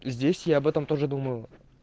здесь я об этом тоже думаю